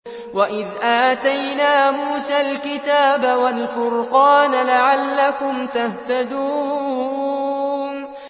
وَإِذْ آتَيْنَا مُوسَى الْكِتَابَ وَالْفُرْقَانَ لَعَلَّكُمْ تَهْتَدُونَ